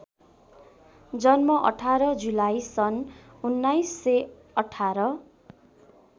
जन्म १८ जुलाई सन १९१८